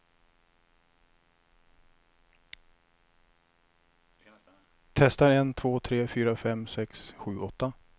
Testar en två tre fyra fem sex sju åtta.